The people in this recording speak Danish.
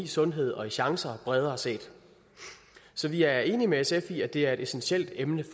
sundhed og chancer bredere set så vi er enige med sf i at det er et essentielt emne i